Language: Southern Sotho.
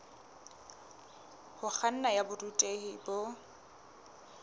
ho kganna ya borutehi bo